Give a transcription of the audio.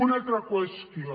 una altra qüestió